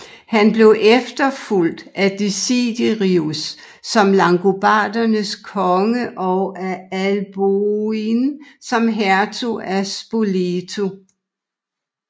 Han blev efterfulgt af Desiderius som langobardernes konge og af Alboin som hertug af Spoleto